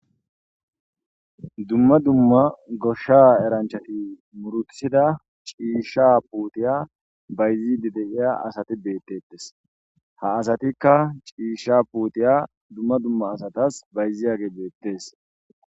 dumma dumma goshsha eranchati murutisida ciishsha puutiya bayzidi deiya asati deettettes ha asatikka ciisha puutiya dumma dumma asatas bayziyage beettes